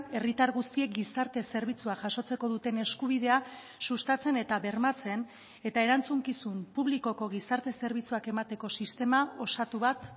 herritar guztiek gizarte zerbitzua jasotzeko duten eskubidea sustatzen eta bermatzen eta erantzukizun publikoko gizarte zerbitzuak emateko sistema osatu bat